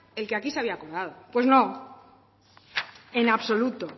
el que aquí se había acordado pues no en absoluto